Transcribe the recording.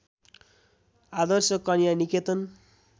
आदर्श Kanya निकेतन